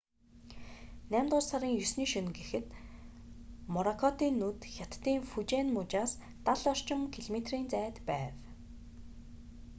наймдугаар сарын 9-ний шөнө гэхэд моракотын нүд хятадын фужиан мужаас дал орчим километрийн зайд байв